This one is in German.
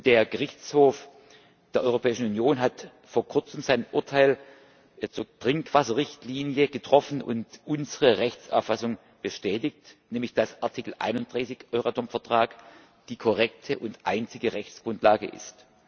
Der Gerichtshof der Europäischen Union hat vor kurzem sein Urteil zur Trinkwasserrichtlinie getroffen und unsere Rechtsauffassung bestätigt, nämlich dass Artikel 31 des Euratom Vertrags die korrekte und einzige Rechtsgrundlage ist.